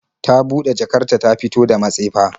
Ta bude jakar ta ta fito da matsefa